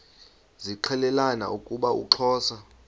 zixelelana ukuba uxhosa